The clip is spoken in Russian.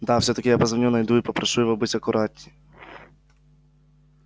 давай всё-таки я позвоню найду и попрошу его быть аккуратнее